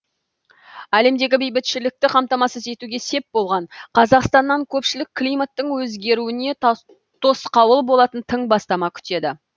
әлемдегі бейбітшілікті қамтамасыз етуге сеп болған қазақстаннан көпшілік климаттың өзгеруіне тосқауыл болатын тың бастама күтеді